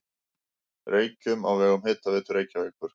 Reykjum á vegum Hitaveitu Reykjavíkur.